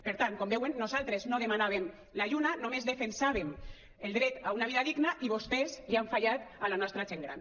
per tant com veuen nosaltres no demanàvem la lluna només defensàvem el dret a una vida digna i vostès li han fallat a la nostra gent gran